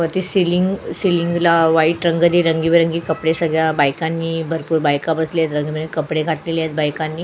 वरती सिलिंग सिलिंगला व्हाईट रंग कि रंगबिरगी कपडे सगळ्या बायकानी भरपूर बायका बसल्यात रंगबिरगी कपडे घातल्यात बायकांनी.